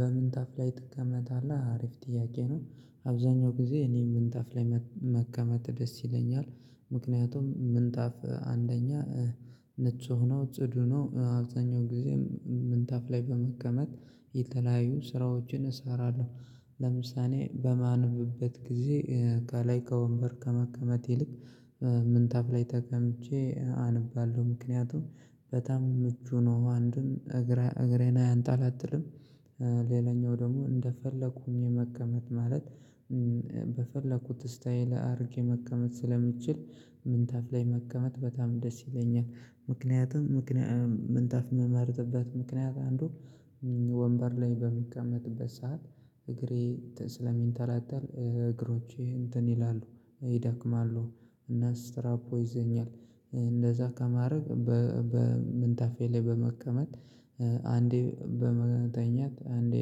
በምንጣፍ ላይ ትቀመታለህ አሪፍ ጥያቄ ነው? አብዛኛው ጊዜ እኔ ምንጣፍ ላይ መቀመጥ ደስ ይለኛል። ምክንያቱም ምንጣፍ አንደኛ ንጹ ነው ጽዱ ነው አብዛኛው ጊዜ ምንጣፍ ላይ በመቀመጥ የተለያዩ ስራዎችን እሰራለሁ። ለምሳሌ በማንብበት ጊዜ ከላይ ከወንበር ከመቀመጥ ይልቅ ምንታፍ ላይ ተቀምጬ አነባለሁ ምክንያቱም በጣም ምቹ ነው። አንዱን እግሬን አያንጣላጥልም። ሌላኛው ደግሞ እንደፈለኩኝ ህኝ መቀመጥ ማለት በፈለኩት ስታይል አድርጌ መቀመጥ ስለምችል ምንታፍ ላይ መቀመጥ በጣም ደስ ይለኛል። ምክንያቱም ምክንያቱም ምንታፍ ምመርጥበት ምክንያት አንዱ ወንበር ላይ በሚቀመጥበት ሰዓት እግሬ ስለሚንተላተል እግሮቼ እንትን ይላሉ ይዳክማሉ። እና ስትራፖ ይዘኛል። እንደዛ ከማድረግ በምንታፌ ላይ በመቀመጥ አንዴ በመተኘት አንዴ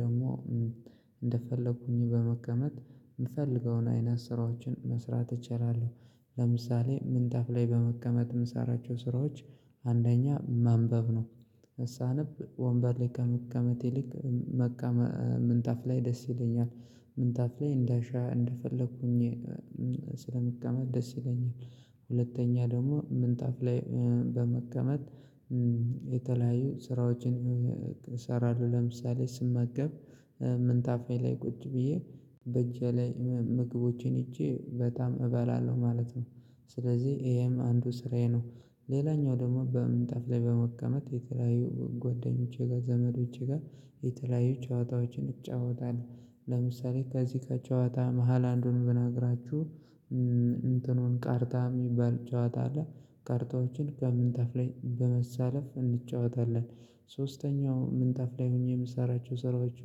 ደግሞ እንደፈለኩኝ በመቀመጥ የምፈልገውን አይነት ስራዎችን መስራት እችላለሁ። ለምሳሌ ምንጣፍ ላይ በመቀመጥ የምሰራቸው ስራዎች አንደኛ ማንበብ ነው። ሳነብ ወንበር ላይ ከመቀመጥ ይልቅ ምንጣፍ ላይ ደስ ይለኛል። ምንጣፍ ላይ እንዳሻ እንደፈለኩኝ ስለምቀመጥ ደስ ይለኛል። ሁለተኛ ደግሞ ምንጣፍ ላይ በመቀመጥ የተለያዩ ስራዎችን እሰራለሁ ለምሳሌ ስመገብ ምንታፌ ላይ ቁጭ ብዬ በእጄ ላይ ምግቦቼን ሄጄ በጣም እበላለሁ ማለት ነው። ስለዚህ ይሄም አንዱ ስራዬ ነው። ሌላኛው ደግሞ በምንጠፍ ላይ በመቀመጥ የተለያዩ ጓደኞቼ ጋር ዘመዶቼ ጋር የተለያዩ ጨዋታዎችን እጫወታለው። ለምሳሌ ከዚህ ከጨዋታ መሃል አንዱን ብነግራችሁ እንትንኑ ካርታ የሚባል ጨዋታ አለ። ካርታዎችን ከምንታፍ ላይ በመሳለፍ እንጫወታለን። ሶስተኛው ምንታፍ ላይ ሆኜ የምሰራቸው ስራዎች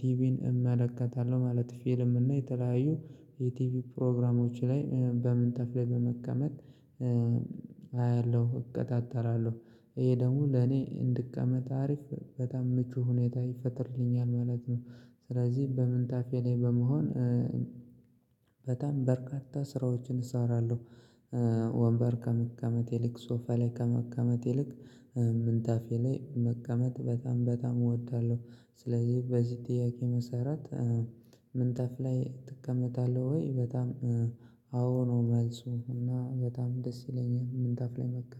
ቲቪን እመለከታለሁ ማለት ፊልም እና የተለያዩ የቲቪ ፕሮግራሞች ላይ በምንጣፍ ላይ በመቀመጥ አያለሁ እቀጣጠራለሁ ይሄ ደግሞ ለኔ እንድቀመጥ አሪፍ በጣም ምቹ ሁኔታ ይፈጥርልኛል ማለት ነው። ስለዚህ በምንታፌ ላይ በመሆን በጣም በርካታ ስራዎችን እሰራለሁ። ወንበር ከመቀመጥ ይልቅ ሶፋ ላይ ከመቀመጥ ይልቅ ምንታፌ ላይ መቀመጥ በጣም በጣም እወዳለሁ። ስለዚህ በዚህ ጥያቄ መሰራት ምንጠፍ ላይ ትከመጣለህ ወይ በጣም? አዎ ነው መልሱ እና በጣም ደስ ይለኛል ምንጣፍ ላይ መቃመጥ